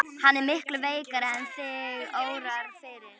Hann er miklu veikari en þig órar fyrir.